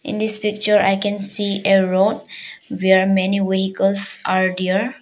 In this picture I can see a road where many vehicles are there.